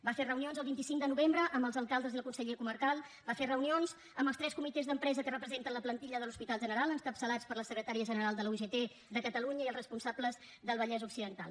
va fer reunions el vint cinc de novembre amb els alcaldes i el conseller comarcal va fer reunions amb els tres comitès d’empresa que representen la plantilla de l’hospital general encapçalats per la secretària general de la ugt de catalunya i els responsables del vallès occidental